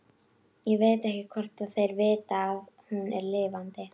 Ég veit ekki hvort þeir vita að hún er lifandi.